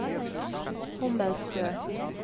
Hommelstø